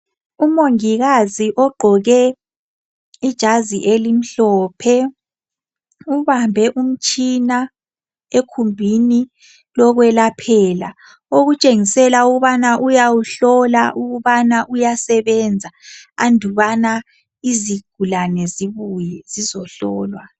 Umongikazi ogqoke ijazi elimhlophe ubambe umtshina ekhumbini lokwelaphela okutshengisela ukubana uyawuhlola ukubana uyasebenza andubana izigulane zibuye zizohlolwa.